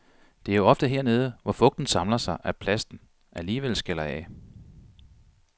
Det er jo ofte hernede, hvor fugten samler sig, at plasten alligvel skaller af.